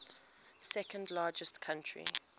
second largest country